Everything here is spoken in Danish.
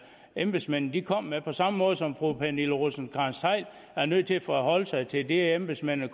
embedsmændene kom med på samme måde som fru pernille rosenkrantz theil er nødt til at forholde sig til det embedsmændene